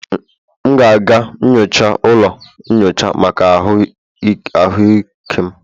M ga-aga nyocha ụlọ nyocha maka ahụike m